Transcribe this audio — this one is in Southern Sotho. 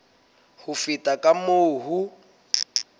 ho feta ka moo ho